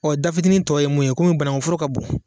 da fitinin tɔ ye mun ye komi banaŋuforo ka bon